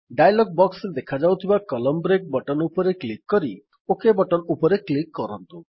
dialog box ରେ ଦେଖାଯାଉଥିବା column break button ଉପରେ କ୍ଲିକ୍ କରି ଓକ୍ ବଟନ୍ ଉପରେ କ୍ଲିକ୍ କରନ୍ତୁ